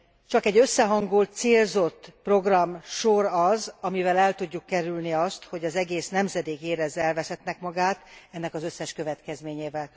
Csak egy összehangolt, célzott programsor az, amivel el tudjuk kerülni azt, hogy egy egész nemzedék érezze elveszettnek magát, ennek az összes következményével.